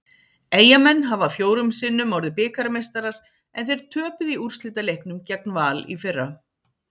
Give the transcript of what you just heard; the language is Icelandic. Eyjamenn hafa fjórum sinnum orðið bikarmeistarar en þeir töpuðu í úrslitaleiknum gegn Val í fyrra.